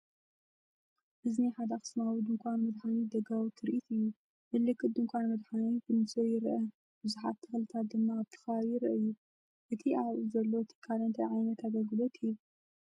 እዚ ናይ ሓደ ኣኽሱማዊ ድኳን መድሓኒት ደጋዊ ትርኢት እዩ። ምልክት ድኳን መድሃኒት ብንጹር ይርአ፣ ብዙሓት ተኽልታት ድማ ኣብቲ ከባቢ ይረኣዩ። እቲ ኣብ ዘሎ ትካል እንታይ ዓይነት ኣገልግሎት ይህብ?